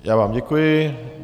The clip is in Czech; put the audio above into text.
Já vám děkuji.